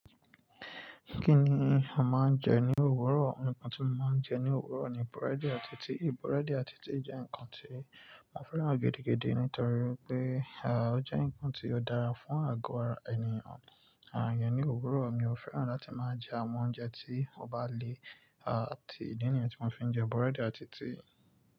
Kí ni a máa ń jẹ ní òwúrọ̀? Àwon nkán tí mo máa ń jẹ ní òwúrọ̀ ni búrẹ́dì àti tíì. Búrẹ́dì àti tíì jẹ́ ǹkan tí mo fẹ́ràn gidi gidi nítorí pé, ó jẹ́ ǹkan tí ó dára fún àgọ́ ara ènìyàn. Ní òwúrọ̀ mi ò fẹ́ràn láti máa jẹ àwọn oúnjẹ tí ó bá le, àti, ìdí nìyẹn tí mo fi ń jẹ búrẹ́dì àti tíì.